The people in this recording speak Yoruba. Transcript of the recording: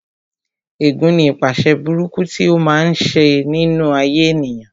Ẹ̀gún ní ipaṣẹ̀ burúkú tí ó máa ń ṣe nínú ayé ènìyàn